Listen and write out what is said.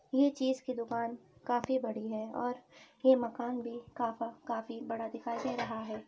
ये चीज की दुकान काफी बड़ी है और ये मकान भी काफा काफी बड़ा दिखाई दे रहा है।